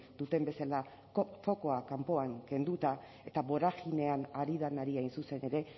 duten bezala fokoa kanpoan kenduta eta boraginean ari denari hain zuzen ere